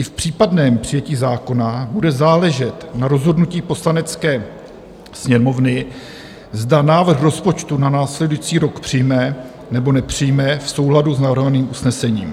I v případném přijetí zákona bude záležet na rozhodnutí Poslanecké sněmovny, zda návrh rozpočtu na následující rok přijme, nebo nepřijme v souladu s navrhovaným usnesením.